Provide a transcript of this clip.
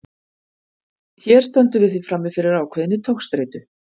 hér stöndum við því frammi fyrir ákveðinni togstreitu